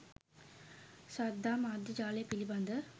ශ්‍රද්ධා මාධ්‍ය ජාලය පිළිබඳ